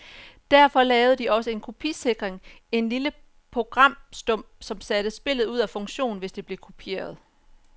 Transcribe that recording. Derfor lavede de også en kopisikring, en lille programstump, som satte spillet ud af funktion, hvis det blev kopieret.